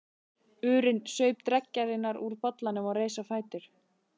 urinn, saup dreggjarnar úr bollanum og reis á fætur.